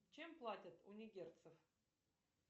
чем платят у нигерцев